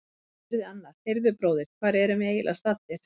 Þá spurði annar: Heyrðu bróðir, hvar erum við eiginlega staddir?